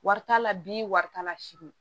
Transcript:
Wari t'a la bi wari t'a la sini